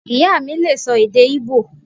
Ìyá mí lè sọ èdè íbò